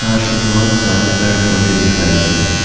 साथ ही बहुत सारे पेड़-पौधे दिखाई दे रहे हैं ।